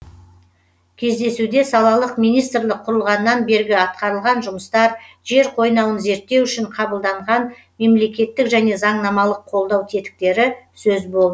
кездесуде салалық министрлік құрылғаннан бергі атқарылған жұмыстар жер қойнауын зерттеу үшін қабылданған мемлекеттік және заңнамалық қолдау тетіктері сөз болды